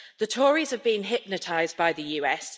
The Tories have been hypnotised by the US.